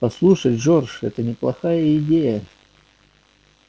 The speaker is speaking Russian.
послушай джордж это неплохая идея